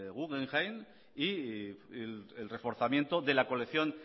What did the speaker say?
guggenheim y el reforzamiento de la colección